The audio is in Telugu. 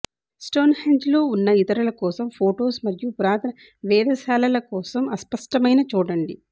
స్టోన్హెంజ్లో ఉన్న ఇతరుల కోసం ఫోటోస్ మరియు పురాతన వేధశాలల కోసం అస్పష్టమైన చూడండి